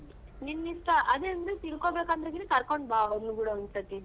ನಿನ್ನಿಷ್ಟ ಅದೇ ಏನಾದ್ರೂ ತಿಳ್ಕೋಬೇಕಂತಿದ್ರೆ ಕರ್ಕೊಂಡ್ ಬಾ ಅವ್ರ್ನು ಕೂಡ ಒಂದ್ ಸತಿ.